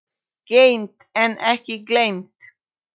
Geymt en ekki gleymt!